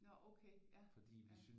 Nå okay ja ja